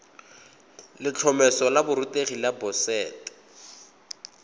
letlhomeso la borutegi la boset